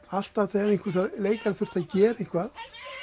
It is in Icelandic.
alltaf þegar leikari þurfti að gera eitthvað